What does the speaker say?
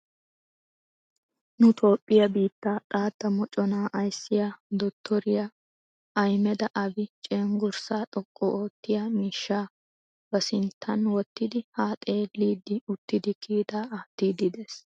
Nu toophphiya biittaa xaatta moconaa ayissiya dotoriya ahmeda abi cenggurssaa xoqqu oottiya miishshaa ba sinttan wottidi haa xeelliiddi uttidi kiitaa aattiiddi des.